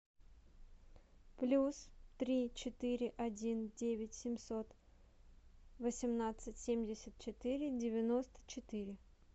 плюс три четыре один девять семьсот восемнадцать семьдесят четыре девяносто четыре